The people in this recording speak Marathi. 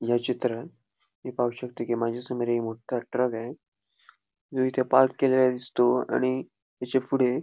या चित्रान मी पाहू शकतो कि माझ्यासमोर एक मोठा ट्रक आहे जो इथे पार्क केलेला दिसतो आणि याच्यापुढे --